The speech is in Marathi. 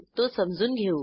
तो समजून घेऊ